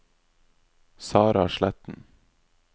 Sarah Sletten